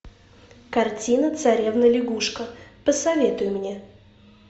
картина царевна лягушка посоветуй мне